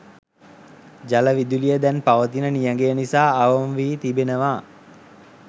ජල විදුලිය දැන් පවතින නියඟය නිසා අවම වී තිබෙනවා